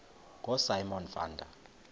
ngosimon van der